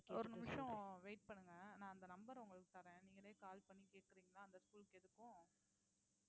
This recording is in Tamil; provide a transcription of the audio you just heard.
ஒரு நிமிஷம் wait பண்ணுங்க நான் அந்த number உங்களுக்கு தரேன் நீங்களே call பண்ணி கேக்குறீங்களா அந்த school க்கு எதுக்கும்